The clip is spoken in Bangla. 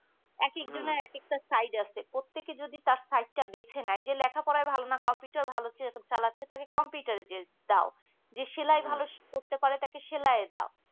এক একজনের একএকটা side আছে প্রত্যেকে যদি তার side টা বেছে নেই যে লেখাপড়ায় ভালো না computer ভালো চালাচ্ছে তাকে computer দাও যে সেলাই ভালো করতে পারে তাকে সেলাই এ দাও